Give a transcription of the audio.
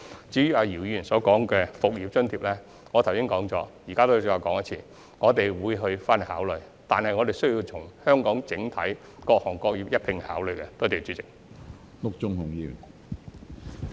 至於姚議員提及的"復業津貼"，我剛才已經說過，我現在再說一遍，我們會作考慮，但需要從本港各行各業的整體角度一併考慮。